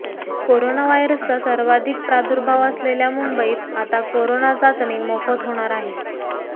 corona व्हायरसचा सर्वाधिक प्रादुर्भाव असलेल्या मुंबईत आता करोना चाचणी मोफत होणार आहे